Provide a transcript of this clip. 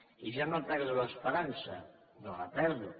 i jo no perdo l’esperança no la perdo